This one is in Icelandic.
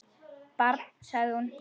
Barn, sagði hún.